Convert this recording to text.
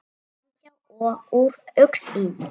Framhjá og úr augsýn.